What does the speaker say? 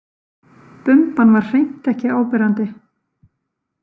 Bumban var hreint ekki áberandi.